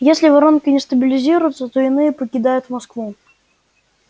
если воронка не стабилизируется то иные покидают москву